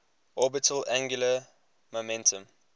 orbital angular momentum